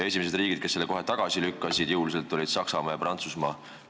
Esimesed riigid, kes selle kohe jõuliselt tagasi lükkasid, olid Saksamaa ja Prantsusmaa.